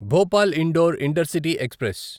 Bhopal Indore intercity express